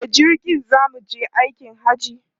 Da jirgi za mu je aikin Hajji.